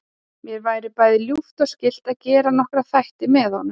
Mér væri bæði ljúft og skylt að gera nokkra þætti með honum.